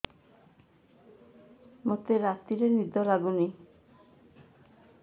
ମୋତେ ରାତିରେ ନିଦ ଲାଗୁନି